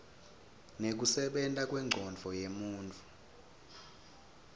nekusebenta kwencondvo yemuntfu